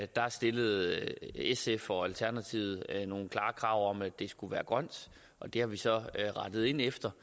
der stillede sf og alternativet nogle klare krav om at det skulle være grønt og det har vi så rettet ind efter